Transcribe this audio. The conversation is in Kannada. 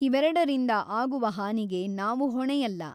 ಇವೆರಡರಿಂದ ಆಗುವ ಹಾನಿಗೆ ನಾವು ಹೊಣೆಯಲ್ಲ.